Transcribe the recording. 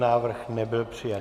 Návrh nebyl přijat.